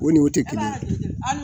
O ni o tɛ kelen ye